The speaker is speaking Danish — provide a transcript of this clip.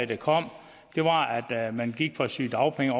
der kom var at man gik fra sygedagpenge